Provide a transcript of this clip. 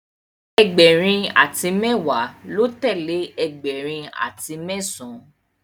Egberin ati mewa lọ telee ẹgbẹrin ati mẹsan